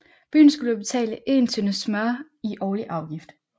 Byen skulle betale 1 tønde smør i årlig afgift